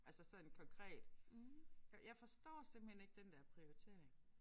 Altså sådan konkret. Jeg jeg forstår simpelthen ikke den der prioritering